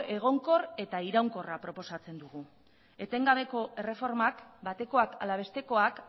egonkor eta iraunkorra proposatzen dugu etengabeko erreformak batekoak ala bestekoak